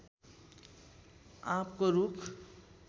आँपको रूख